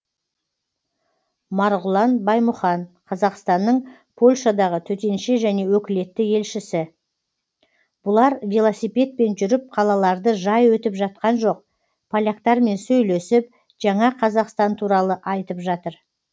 марғұлан баймұхан қазақстанның польшадағы төтенше және өкілетті елшісі бұлар велосипедпен жүріп қалаларды жай өтіп жатқан жоқ поляктармен сөйлесіп жаңа қазақстан туралы айтып жатыр